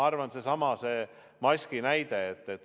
Seesama maski näide.